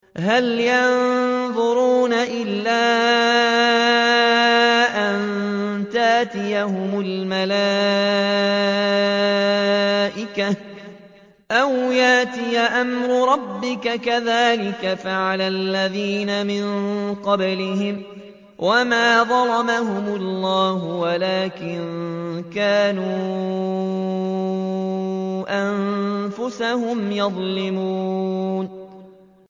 هَلْ يَنظُرُونَ إِلَّا أَن تَأْتِيَهُمُ الْمَلَائِكَةُ أَوْ يَأْتِيَ أَمْرُ رَبِّكَ ۚ كَذَٰلِكَ فَعَلَ الَّذِينَ مِن قَبْلِهِمْ ۚ وَمَا ظَلَمَهُمُ اللَّهُ وَلَٰكِن كَانُوا أَنفُسَهُمْ يَظْلِمُونَ